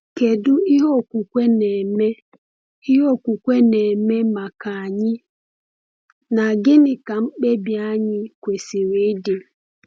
Kedu ihe okwukwe na-eme ihe okwukwe na-eme maka anyị, na gịnị ka mkpebi anyị kwesịrị ịdị?